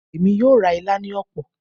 Emi yoo ra ila ni opo